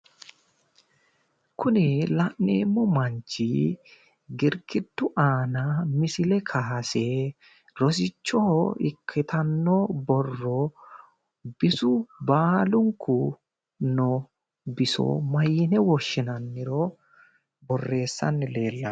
Kuni la'neemmo manchi girgiddu aana misile kaayse rosichoho ikkitanno borro bisu baalunku no biso maayine woshshinanniro borreessanni leellanno.